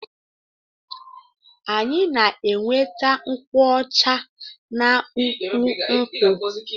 Anyi na enweta nkwụ ọcha na ukwu nkwụ.